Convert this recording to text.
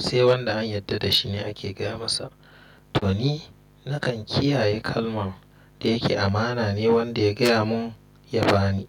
Sai wanda an yarda da shi ne ake gaya masa? To ni nakan kiyaye kalman da yake amana ne wanda ya gaya mun ya bani,